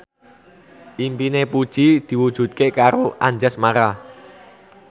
impine Puji diwujudke karo Anjasmara